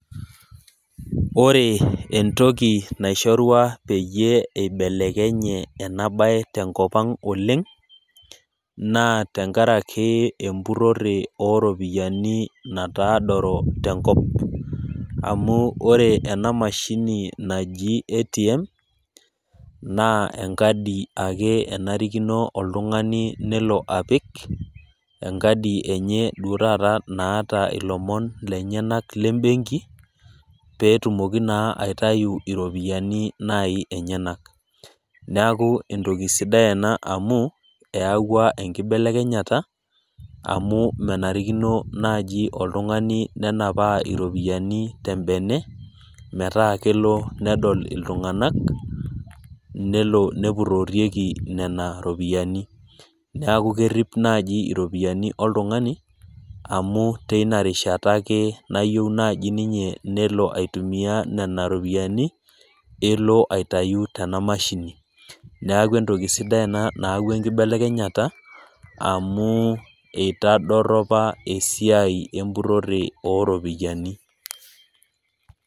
Ore entoki naishorua peyie eibelekenye ena baye tenkop ang' oleng', naa tenkaraki empurore oorepiani nataadoro tenkop. Amu ore ena mashini naji ATM , naa enkadi ake enarikino nelo apik, enkadi enye duo taata naata ilomon lenyena le embenki, peetumoki naaji aitayu iropiani enyena. Neaku entoki sidai ena amu, eyauwa enkibelekenyata, amu menarikino naaji oltung'ani nenapaa iropiani te embene metaa kelo nedol iltung'ana, nelo nepurorieki nena ropiani, neaku kerip naaji iropiani oltung'ani, amu teina rishata naaji nayieu ake ninye nelo aitumiya nena ropiani, nelo aitayu tena mashini, neaku entoki sidai ena naayauwa enkibelekenyata, amu keitodoropa esiai empurore oo iropiani.